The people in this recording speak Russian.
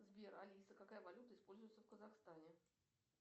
сбер алиса какая валюта используется в казахстане